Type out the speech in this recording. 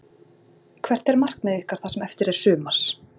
Hvert er markmið ykkar það sem eftir er sumars?